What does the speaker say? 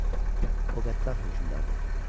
Yox, o qəddar hökmdardır.